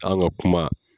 An ka kuma